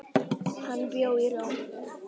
Hann bjó í Róm.